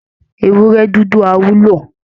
Ewúrẹ́ dúdú á wúlò